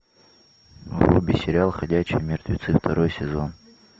вруби сериал ходячие мертвецы второй сезон